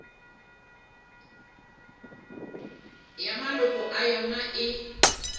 ya maloko a yona e